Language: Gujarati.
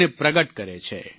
તેને પ્રગટ કરે છે